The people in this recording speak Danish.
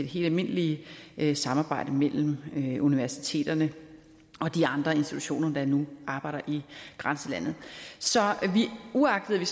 helt almindelige samarbejde imellem universiteterne og de andre institutioner der nu arbejder i grænselandet så uagtet at vi